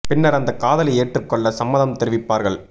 பின்னர் அந்த காதலை ஏற்றுகொள்ள சம்மதம் தெரிவிப்பார்கள்